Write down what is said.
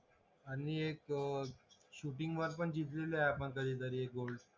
आणि एक gold shooting वर पण जीतलेलोय आपण कधी तरी एक गोल्ड